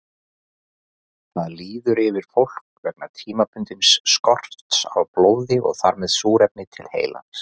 Það líður yfir fólk vegna tímabundins skorts á blóði og þar með súrefni til heilans.